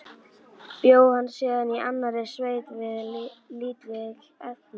Bjó hann síðan í annarri sveit við lítil efni.